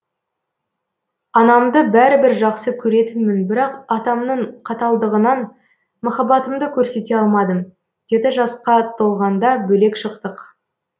анамды бәрібір жақсы көретінмін бірақ атамның қаталдығынан махаббатымды көрсете алмадым жеті жасқа толғанда бөлек шықтық